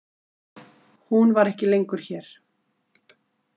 Hún var ekki lengur hér.